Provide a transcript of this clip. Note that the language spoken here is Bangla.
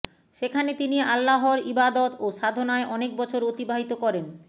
সেখানে তিনি আল্লাহর ইবাদত ও সাধনায় অনেক বছর অতিবাহিত করেন